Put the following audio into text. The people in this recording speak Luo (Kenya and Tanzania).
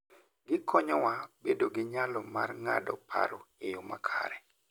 Gikonyowa bedo gi nyalo mar ng'ado paro e yo makare.